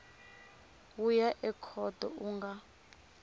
wu ya ekhoto u nga